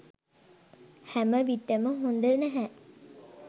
හැම විට ම හොඳ නැහැ.